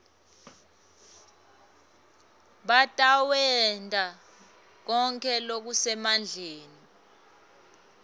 batawenta konkhe lokusemandleni